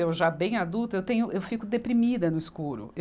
Eu já bem adulta, eu tenho, eu fico deprimida no escuro. eu